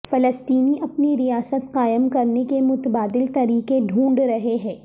فلسطینی اپنی ریاست قائم کرنے کے متبادل طریقے ڈھونڈ رہے ہیں